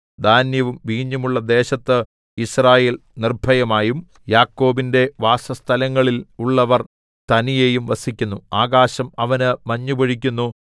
ധാന്യവും വീഞ്ഞുമുള്ള ദേശത്ത് യിസ്രായേൽ നിർഭയമായും യാക്കോബിന്റെ വാസസ്ഥലങ്ങളില്‍ ഉള്ളവര്‍ തനിയെയും വസിക്കുന്നു ആകാശം അവന് മഞ്ഞു പൊഴിക്കുന്നു